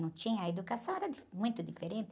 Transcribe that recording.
Não tinha, a educação era di muito diferente.